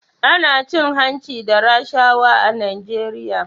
Ana cin hanci da rashawa a Najeriya